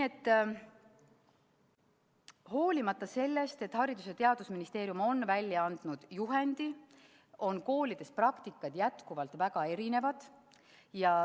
Hoolimata sellest, et Haridus- ja Teadusministeerium on välja andnud juhendi, on koolide praktika jätkuvalt väga erinev.